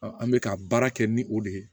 an bɛ ka baara kɛ ni o de ye